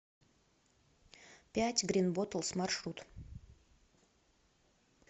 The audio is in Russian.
пять грин боттлс маршрут